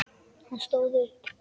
Hann stóð upp.